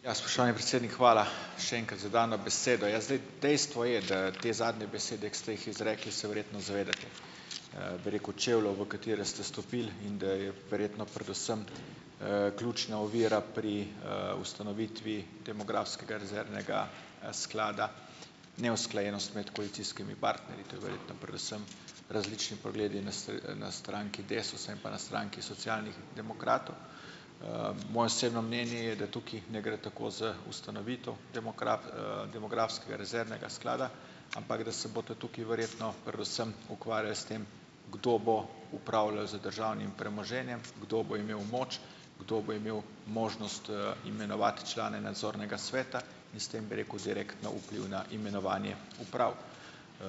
Ja, spoštovani predsednik, hvala še enkrat za dano besedo. Ja, zdaj dejstvo je, da te zadnje besede, ki ste jih izrekli, se verjetno zavedate, bi rekel, čevljev, v katere ste stopili, in da je verjetno predvsem, ključna ovira pri, ustanovitvi demografskega rezervnega, sklada, neusklajenost med koalicijski partnerji, to je verjetno predvsem različni pogledi na na stranki Desusa in pa na stranki Socialnih demokratov . Moje osebno mnenje je, da tukaj ne gre tako za ustanovitev demografskega rezervnega sklada, ampak da se boste tukaj verjetno predvsem ukvarjali s tem, kdo bo upravljal z državnim premoženjem, kdo bo imel moč, kdo bo imel možnost, imenovati člane nadzornega sveta in s tem, bi rekel, direktno vpliv na imenovanje uprav.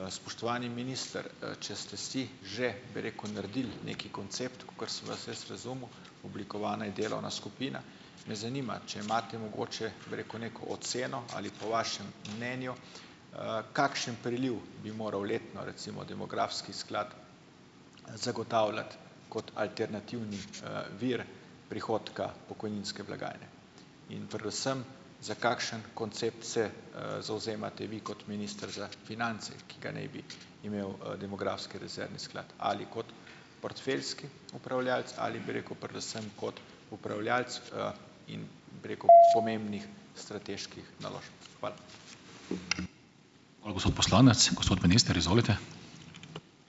Spoštovani minister, če ste si že, bi rekel, naredili neki koncept, kakor sem vas jaz razumel, oblikovana je delovna skupina, me zanima, če imate mogoče, bi rekel, neko oceno, ali po vašem mnenju, kakšen priliv bi moral letno recimo demografski sklad zagotavljati kot alternativni, vir prihodka pokojninske blagajne in predvsem za kakšen koncept se, zavzemate vi kot minister za finance, ki ga naj bi imel, demografski rezervni sklad. Ali kot portfeljski upravljavec ali, bi rekel, predvsem kot upravljavec, bi rekel, pomembnih strateških naložb? Hvala.